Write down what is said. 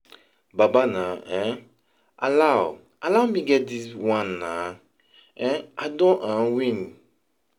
Babe naa, um allow, allow me get dis wan naa. [um]I don um win!!